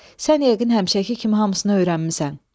Sən yəqin həmişəki kimi hamısını öyrənmisən.